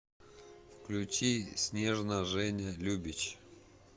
включи снежно женя любич